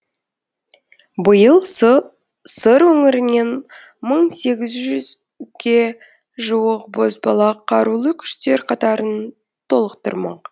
биыл сыр өңірінен мың сегіз жүзге жуық бозбала қарулы күштер қатарын толықтырмақ